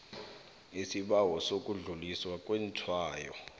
isibawo sokudluliswa kwetshwayo